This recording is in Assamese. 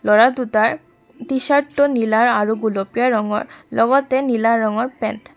ল'ৰা দুটাৰ টিচাৰ্ত টো নীলা আৰু গুলপীয়া ৰঙৰ লগতে নীলা ৰঙৰ পেণ্ট ।